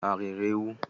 Ha riri ewu?